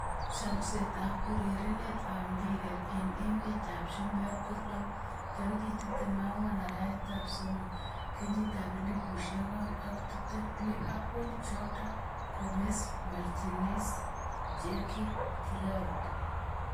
Chomset ab urerenet ab mbiret eng emet ab chumbek kolo 14.03.2020: Liverpool, Jota, Gomes, Martinez, Cherki, Giroud